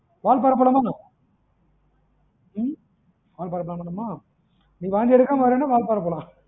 வால்பாறை போலாமா என்ன, ம் வால்பாறை plan பண்ணலாமா, நீ வாந்தி எடுக்காம வர்றன்னா வால்பாறை போலாம்.